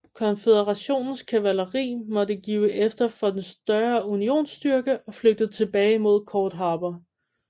Konføderationens kavaleri måtte give efter for den større unionsstyrke og flygtede tilbage mod Cord Harbor